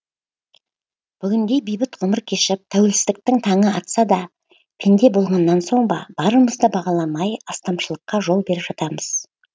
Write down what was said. бүгінде бейбіт ғұмыр кешіп тәуелсіздіктің таңы атса да пенде болғаннан соң ба барымызды бағаламай астамшылыққа жол беріп жатамыз